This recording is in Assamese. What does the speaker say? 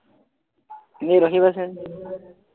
ৰখিবাচোন